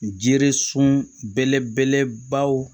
Jiri sun belebelebaw